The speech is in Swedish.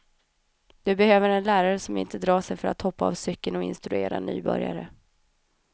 Du behöver en lärare som inte drar sig för att hoppa av cykeln och instruera nybörjare.